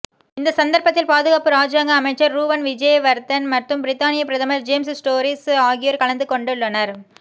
இந்த சந்தர்ப்பத்தில் பாதுகாப்பு இராஜாங்க அமைச்சர் ரூவன் விஜேவர்தன மற்றும் பிரித்தானிய பிரதமர் ஜேம்ஸ் டோரிஸ் ஆகியோர் கலந்து கொண்டுள்ளனர்